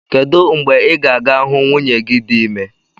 Kedụ mgbe ị ga-aga hụ nwunye gị dị ime